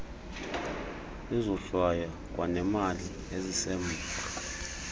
izohlwayo kwanemali esisemva